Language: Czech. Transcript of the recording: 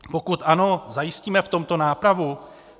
Pokud ano, zajistíme v tomto nápravu?